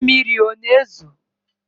Mmiri ọ na-ezo?